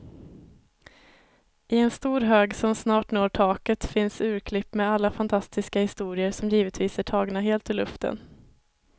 I en stor hög som snart når taket finns urklipp med alla fantastiska historier, som givetvis är tagna helt ur luften.